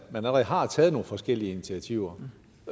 allerede har taget nogle forskellige initiativer